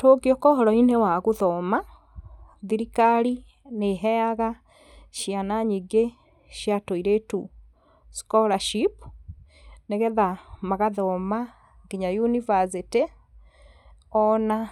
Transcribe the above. tũngĩũka ũhoro-inĩ wa gũthoma, thirikari nĩ ĩheaga ciana nyingĩ cia tũirĩtu scholarship, nĩgetha magathoma nginya yunibacĩtĩ, ona